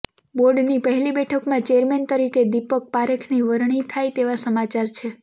બોર્ડની પહેલી બેઠકમાં ચેરમેન તરીકે દીપક પારેખની વરણી થાય તેવા સમાચાર છે